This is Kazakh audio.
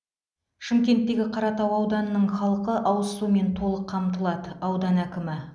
шымкенттегі қаратау ауданының халқы ауыз сумен толық қамтылады аудан әкімі